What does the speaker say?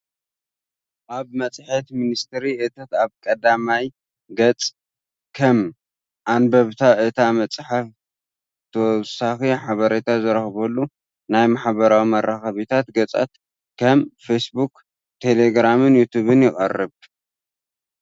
ኣብ መጽሔት ሚኒስትሪ እቶት ኣብ ቀዳማይ ገጽ ከም... ኣንበብቲ እታ መጽሔት ተወሳኺ ሓበሬታ ዝረኽብሉ ናይ ማሕበራዊ መራኸቢታት ገጻት ከም ፌስቡክ፡ ቴሌግራምን ዩቱብን ይቐርብ።